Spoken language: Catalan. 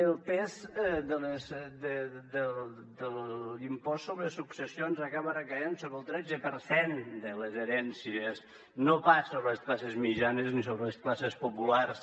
el pes de l’impost sobre successions acaba recaient sobre el tretze per cent de les herències no pas sobre les classes mitjanes ni sobre les classes populars